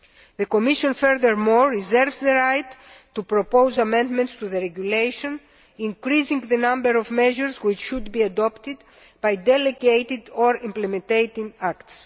The Commission furthermore reserves the right to propose amendments to the regulation, increasing the number of measures which should be adopted by delegated or implementing acts.